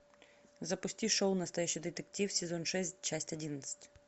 запусти шоу настоящий детектив сезон шесть часть одиннадцать